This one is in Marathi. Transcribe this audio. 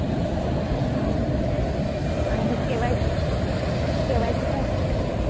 आणि केवायसी काय असते.